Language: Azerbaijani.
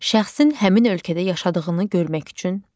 Şəxsin həmin ölkədə yaşadığını görmək üçün.